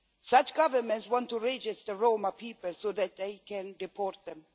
Such governments want to register Roma people so that they can deport them.